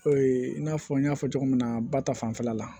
O ye i n'a fɔ n y'a fɔ cogo min na ba ta fanfɛla la